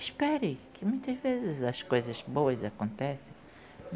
Espere que muitas vezes as coisas boas acontecem.